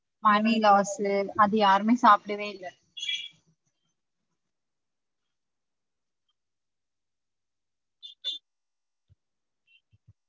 Money loss அத யாருமே சாப்டவே இல்ல